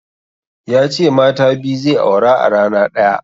Ya ce mata biyu zai aura a rana ɗaya.